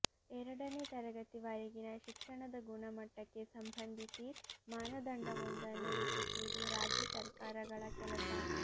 ಎರಡನೇ ತರಗತಿವರೆಗಿನ ಶಿಕ್ಷಣದ ಗುಣಮಟ್ಟಕ್ಕೆ ಸಂಬಂಧಿಸಿ ಮಾನದಂಡವೊಂದನ್ನು ರೂಪಿಸುವುದು ರಾಜ್ಯ ಸರ್ಕಾರಗಳ ಕೆಲಸ